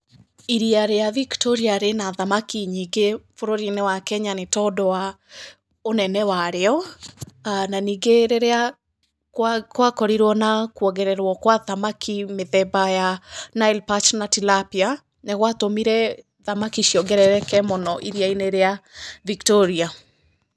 Iria rĩa Victoria rĩna thamaki nyingĩ bũrũri-inĩ wa Kenya nĩ tondũ wa ũnene wa rĩo, na ningĩ rĩrĩa kwa korirwo na kwongererwo gwa thamaki mũthemba wa Nile perch na Tilapia, nĩ gũatũmire thamaki ciongerereke mũno iria-inĩ rĩa Victoria.